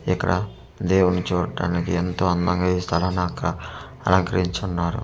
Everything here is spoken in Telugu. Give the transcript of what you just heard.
ఇక్కడ దేవుడినీ చూట్టానికి ఎంతో అందంగా ఈ స్థలని అక-- అలంకరించి ఉన్నారు మన--